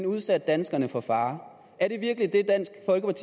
udsat danskerne for fare